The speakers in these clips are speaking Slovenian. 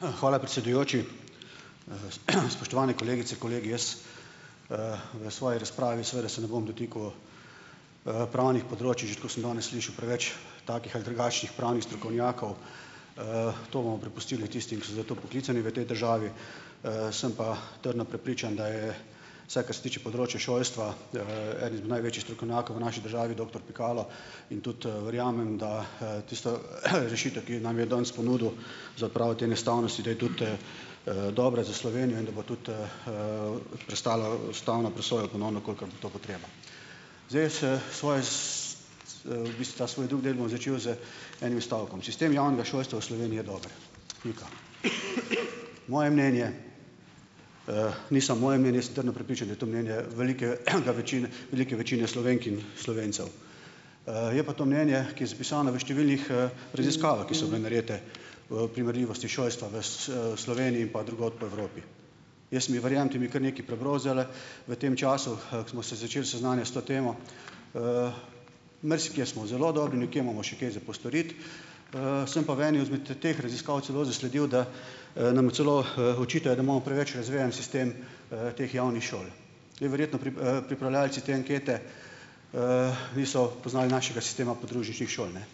Hvala, predsedujoči. Spoštovane kolegice, kolegi. Jaz v svoji razpravi seveda se ne bom dotikal pravnih področij, že tako sem danes slišal preveč takih ali drugačnih pravnih strokovnjakov. To bomo prepustili tistim, ki so za to poklicani v tej državi, sem pa trdno prepričan, da je, vsaj kar se tiče področja šolstva, eden izmed največjih strokovnjakov v naši državi doktor Pikalo, in tudi verjamem, da tisto rešitev, ki nam jo je danes ponudil za odpravo te neustavnosti, da je tudi dobra za Slovenijo in da bo tudi prestala ustavno presojo ponovno, kolikor bo to potreba. Zdaj, s svoj bistvu ta svoj drug del bom začel z enim stavkom: Sistem javnega šolstva v Sloveniji je dober. Pika. Moje mnenje, ni samo moje mnenje, sem trdno prepričan, da je to mnenje velike velike večine Slovenk in Slovencev. Je pa to mnenje, ki je zapisano v številnih raziskavah, ki so bile narejene v primerljivosti šolstva v Sloveniji in pa drugod po Evropi. Jaz sem, verjemite mi, kar nekaj prebral zdajle v tem času, ko smo se začeli seznanjati s to temo. Marsikje smo zelo dobri, nekje imamo še kaj za postoriti, sem pa v eni izmed teh raziskav celo zasledil, da nam celo očitajo, da imamo preveč razvejan sistem teh javnih šol, in verjetno pripravljavci te ankete niso poznali našega sistema podružničnih šol, ne.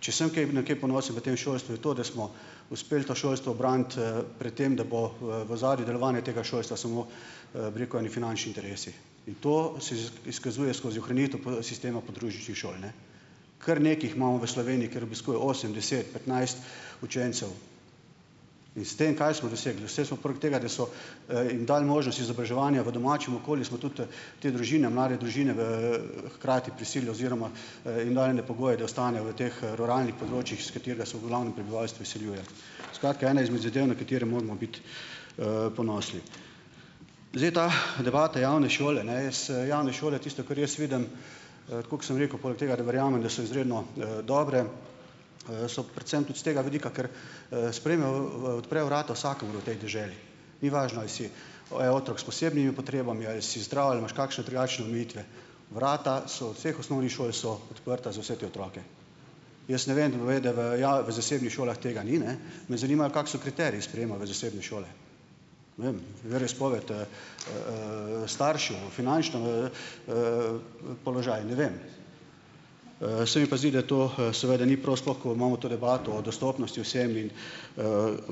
Če sem kaj, na kaj ponosen v tem šolstvu, je to, da smo uspeli to šolstvo braniti pred tem, da bo v ozadju delovanja tega šolstva samo, bi rekel, eni finančni interesi. In to si izkazuje skozi ohranitev sistema podružničnih šol, ne. Kar nekaj jih imamo v Sloveniji, kjer obiskuje osem, deset, petnajst učencev in s tem kaj smo dosegli? jim dali možnost izobraževanja v domačem okolju, smo tudi te družine, mlade družine v hkrati prisilili oziroma jim dali ene pogoje, da ostanejo v teh ruralnih področjih, s katerega so v glavnem prebivalstvo izseljuje. Skratka, ena izmed zadev, na katere moramo biti ponosni. Zdaj ta debata javne šole, ne, javne šole tisto, kar jaz vidim, tako kot sem rekel, poleg tega da verjamem, da so izredno dobre, so predvsem tudi s tega vidika, ker sprejmejo, odprejo vrata vsakemu v tej deželi, ni važno, ali si oe otrok s posebnimi potrebami, ali si zdrav ali imaš kakšne drugačne omejitve. Vrata so vseh osnovnih šol so odprta za vse te otroke. Jaz ne vem, v zasebnih šolah tega ni, ne. Me zanima, kako so kriteriji sprejema v zasebne šole. Veroizpovedi staršev, v finančni položaj, ne vem. Se mi pa zdi, da to seveda ni pol, sploh ko imamo to debato o dostopnosti vsem in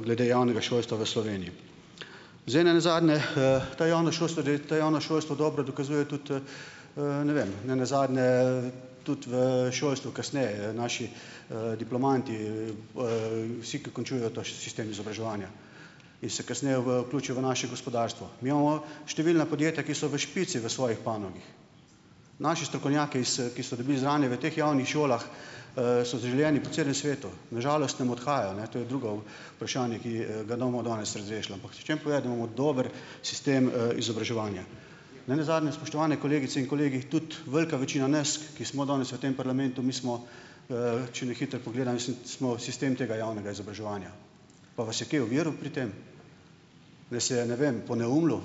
glede javnega šolstva v Sloveniji. Zdaj nenazadnje to javno šolstvo to javno šolstvo dobro dokazuje tudi ne vem, nenazadnje tudi v šolstvu kasneje, naši diplomanti, vsi, ki končujejo ta sistem izobraževanja in se kasneje vključijo v naše gospodarstvo. Mi imamo številna podjetja, ki so v špici v svoji panogi. Naši strokovnjaki ki so dobili znanje v teh javnih šolah, so zaželeni po celem svetu. Na žalost nam odhajajo, ne, to je drugo vprašanje, ki ga ne bomo danes razrešili. Ampak hočem povedati, da imamo dober sistem izobraževanja. Ne nazadnje, spoštovane kolegice in kolegi, tudi velika večina nas, ki smo danes v tem parlamentu, mi smo, če na hitro pogledam, smo sistem tega javnega izobraževanja. Pa vas je kaj oviral pri tem? Nas je, ne vem, poneumljal?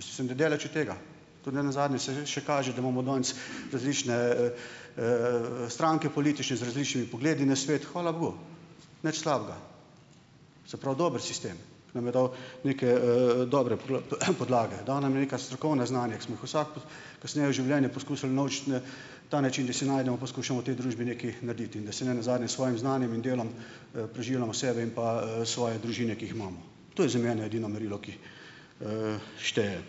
Mislim, da daleč od tega. Tudi ne nazadnje se kaže, da imamo danes različne stranke politične z različnimi pogledi na svet, hvala nič slabega. Se pravi, dober sistem, nam je dal neke dobre podlage. Dal nam je neka strokovna znanja, ki smo jih vsak kasneje v življenju poskusili unovčit, na ta način, da si najdemo, poskušamo v tej družbi nekaj narediti in da se ne nazadnje s svojim znanjem in delom preživljamo sebe in pa svoje družine, ki jih imamo. To je za mene edino merilo, ki šteje.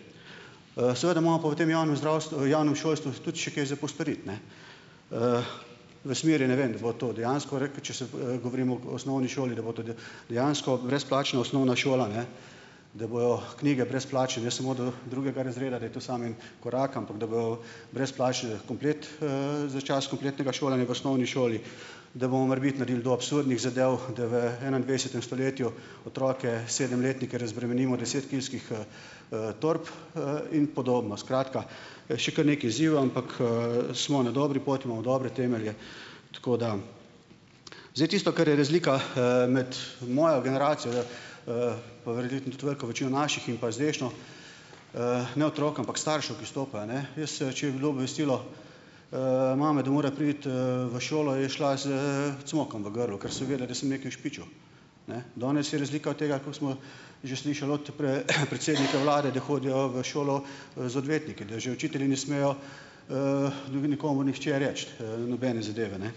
Seveda imamo pa v tem javnem zdravstvu, javnem šolstvu tudi še kaj za postoriti, ne, v smeri, ne vem, da bo to dejansko reke, če se govorimo o osnovni šoli, da bo dejansko brezplačna osnovna šola, ne, da bojo knjige brezplačne, ne samo do drugega razreda, da je to samo en korak, ampak da bo brezplačen komplet za čas kompletnega šolanja v osnovni šoli, da bomo morebiti naredili do absurdnih zadev, da v enaindvajsetem stoletju otroke, sedemletnike razbremenimo desetkilskih torb in podobno. Skratka, še kar nekaj izzivov, ampak smo na dobri poti, imamo dobre temelje. Tako da ... Zdaj tisto, kar je razlika med mojo generacijo veliko večino naših in pa zdajšnjo ne otrok, ampak staršev, ki stopajo, ne, jaz, če je bilo obvestilo mame, da mora priti v šolo, je šla s cmokom v grlu, ker seveda da sem nekaj ušpičil. Ne, danes je razlika od tega, kot smo že slišali od predsednika vlade, da hodijo v šolo z odvetniki, da že učitelji ne smejo nikomur nihče reči, nobene zadeve, ne.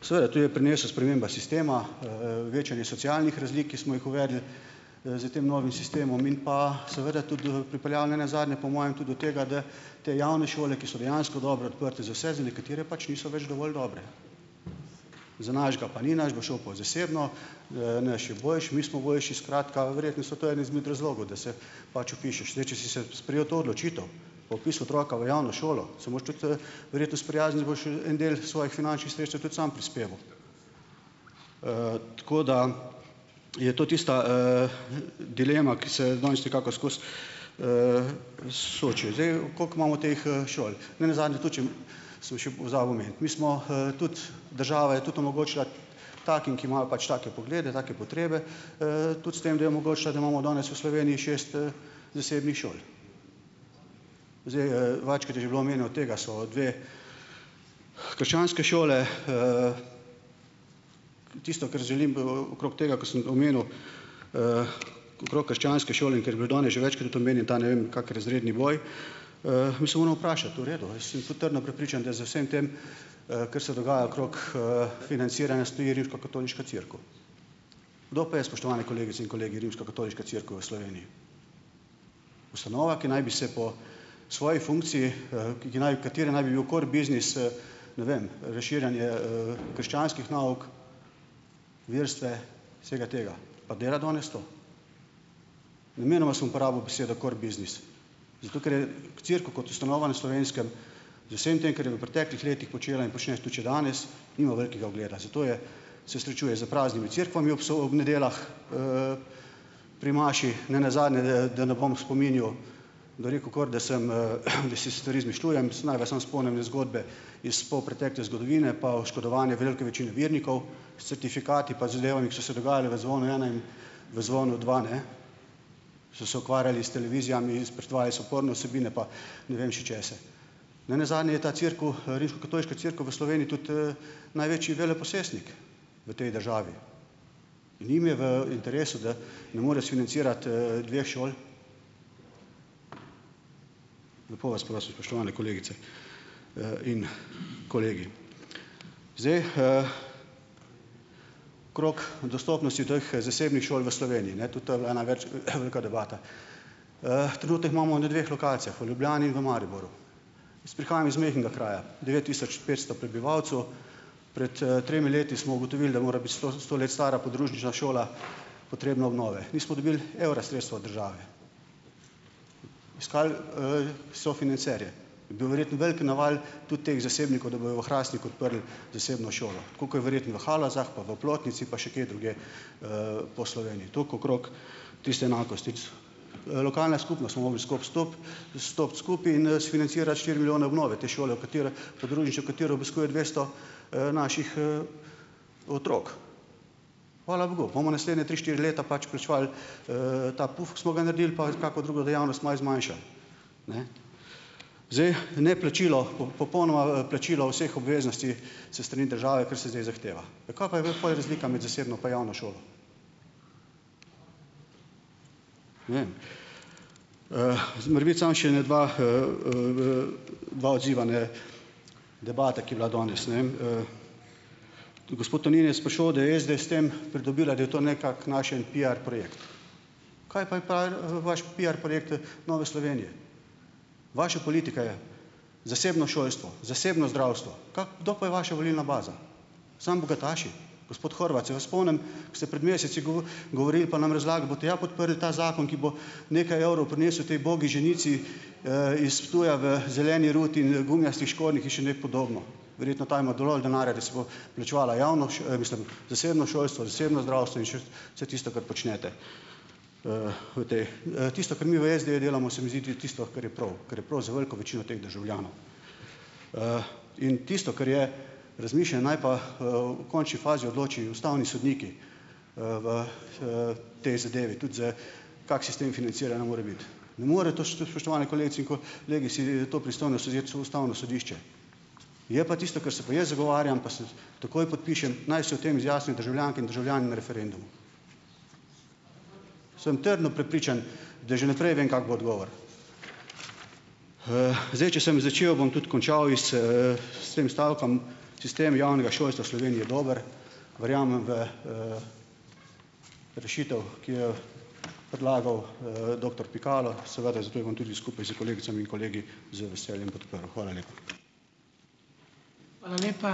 Seveda to je prinesla sprememba sistema, večanje socialnih razlik, ki smo jih uvedli s tem novim sistemom in pa seveda tudi pripeljal nenazadnje po mojem tudi do tega, da te javne šole, ki so dejansko dobre, odprte za vse, za nekatere pač niso več dovolj dobre. Za našega pa ni, naš bo šel pa v zasebno, naš je boljši, mi smo boljši ... Skratka, verjetno so to eni izmed razlogov, da se pač vpišeš. Zdaj, če si se sprejel to odločitev, pa vpisal otroka v javno šolo, se moraš tudi verjetno sprijazniti, da boš en del svojih finančnih sredstev tudi sam prispeval. Tako da ... Je to tista dilema, ki se danes nekako skozi? Koliko imamo teh šol? Ne nazadnje tudi, ... Samo še pozabil omeniti. Mi smo tudi, država je tudi omogočila takim, ki imajo pač take poglede, take potrebe, tudi s tem, da je omogočila, da imamo danes v Sloveniji šest zasebnih šol. Zdaj, večkrat je že bilo omenjeno, od tega so dve krščanske šole. Tisto, kar želim okrog tega, ke sem omenil, okrog krščanske šole, in ker je bilo danes že večkrat omenjen ta, ne vem, kak razredni boj, mi se moramo vprašati, v redu, jaz sem tudi trdno prepričan, da za vsem tem, kar se dogaja okrog financiranja, stoji Rimskokatoliška cerkev. Kdo pa je, spoštovani kolegice in kolegi, Rimskokatoliška cerkev v Sloveniji? Ustanova, ki naj bi se po svoji funkciji, ki ki naj, katere naj bi bil core biznis ne vem, razširjanje krščanskih nauk, verstva, vsega tega. Pa dela danes to? Namenoma sem uporabil besedo core biznis, zato ker cerkev kot ustanova na Slovenskem z vsem tem, ker je v preteklih letih počela in počne tudi še danes, nima velikega ugleda. Zato je se srečuje s praznimi cerkvami ob ob nedeljah pri maši, ne nazadnje, da, da ne bom spominjal, bi rekel, kakor da sem, da si stvari izmišljujem, naj vas samo spomnim iz zgodbe iz polpretekle zgodovine pa oškodovanja velike večine vernikov s certifikati pa zadevami, ki so se dogajale v Zvonu ena in v Zvonu dva, ne, so se ukvarjali s televizijami iz pretvaji so porno vsebine, pa ne vem še česa. Ne nazadnje, je ta cerkev, Rimskokatoliška cerkev v Sloveniji, tudi največji veleposestnik v tej državi in njim je v interesu, da ne morejo sfinancirati dveh šol? Lepo vas prosim, spoštovane kolegice in kolegi. Zdaj, krog dostopnosti teh zasebnih šol v Sloveniji, ne, tudi to je bila ena več debata. Trenutno jih imamo na dveh lokacijah, v Ljubljani in v Mariboru. Jaz prihajam iz majhnega kraja, devet tisoč petsto prebivalcev. Pred tremi leti smo ugotovili, da mora biti sto let stara podružnična šola, potrebna obnove. Nismo dobili evra sredstva od države. Iskali sofinanserje, je bil verjetno velik naval tudi teh zasebnikov, da bojo v Hrastniku odprli zasebno šolo, tako kot je verjetno v Halozah pa v Oplotnici pa še kje drugje po Sloveniji, toliko okrog tiste enakosti Lokalne skupnosti smo mogli skupaj stup stopiti skupaj in sfinancirati štiri milijone obnove te šole, v kateri podružnično, katero obiskuje dvesto naših otrok. Hvala bogu, bomo naslednje tri, štiri leta pač plačevali ta puf, ki smo ga naredili, pa kako drugo dejavnost malo zmanjšali. Zdaj, neplačilo popolnoma, plačilo vseh obveznosti s strani države, kar se zdaj zahteva. Ja kaj pa je bila pol razlika med zasebno pa javno šolo? Morebiti samo še ene dva, dva odziva na debata, ki je bila danes. Gospod Tonin je sprašal, da je SD s tem pridobila, da je to nekako naš en piar projekt. Kaj pa je vaš piar projekt Nove Slovenije? Vaša politika je zasebno šolstvo, zasebno zdravstvo. kdo pa je vaša volilna baza? Samo bogataši? Gospod Horvat, se vas spomnim, ko ste pred meseci govorili pa nam razlagali, boste ja podprli ta zakon, ki bo nekaj evrov prinesel tej ubogi ženici iz Ptuja v zeleni ruti in gumijastih škornjih in še ne podobno. Verjetno ta ima dovolj denarja, da si bo plačevala javno mislim, zasebno šolstvo, zasebno zdravstvo in š vse tisto, kar počnete, v tej ... Tisto, kar mi v SD-ju delamo, se mi zdi ti ()tisto, kar je prav, kar je prav za veliko večino teh državljanov, in tisto, kar je, razmišlja, naj pa v končni fazi odloči ustavni sodniki v tej zadevi, tudi z, kak sistem financiranja mora biti. Ne more to, spoštovani kolegice in kolegi, si to pristojnost vzeti Ustavno sodišče. Je pa tisto, kar se pa jaz zagovarjam pa takoj podpišem, naj se o tem izjasnijo državljanke in državljani na referendumu. Sem trdno prepričan, da že v naprej vem, kak bo odgovor. Zdaj, če sem začel, bom tudi končal iz s tem stavkom. Sistem javnega šolstva v Sloveniji je dober, verjamem v rešitev, ki jo predlagal doktor Pikalo, seveda zato jo bom tudi skupaj s kolegicami in kolegi z veseljem podprl. Hvala lepa.